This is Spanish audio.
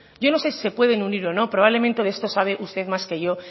yo no sé si se pueden unir o no probablemente de esto sabe usted más que yo